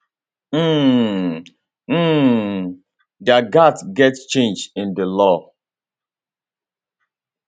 um um dia gatz get change in di law